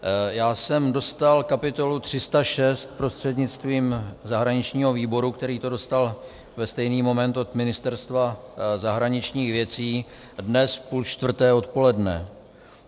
Já jsem dostal kapitolu 306 prostřednictvím zahraničního výboru, který to dostal ve stejný moment od Ministerstva zahraničních věcí, dnes v půl čtvrté odpoledne.